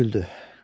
Ginni güldü.